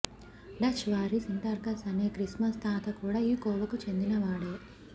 Dutch వారి Sinterklaas అనే Christmas తాత కూడా ఈ కోవకు చెందిన వాడే